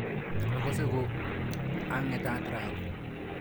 Akase ko ang'etat raini.